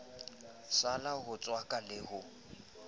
sila ho tswaka le ho